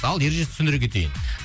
ал ережесін түсіндіре кетейін